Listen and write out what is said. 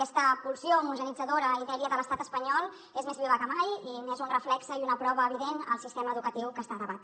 aquesta pulsió homogeneïtzadora i dèria de l’estat espanyol és més viva que mai i n’és un reflex i una prova evident el sistema educatiu que està a debat